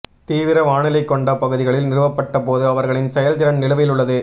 தீவிர வானிலை கொண்ட பகுதிகளில் நிறுவப்பட்ட போது அவர்களின் செயல்திறன் நிலுவையில் உள்ளது